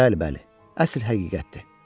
Bəli, bəli, əsl həqiqətdir.